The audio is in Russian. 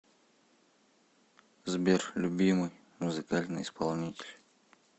сбер любимый музыкальный исполнитель